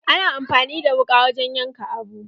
Ana amfani da wuƙa wurin yanka abu.